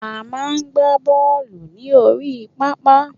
A máa ń gbà bọọlu ní orí pápá